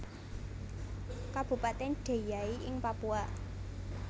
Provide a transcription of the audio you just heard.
Kabupatèn Deiyai ing Papua